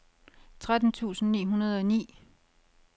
tretten tusind ni hundrede og ni